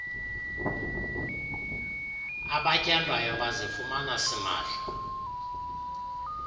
abatyandwayo bazifumana simahla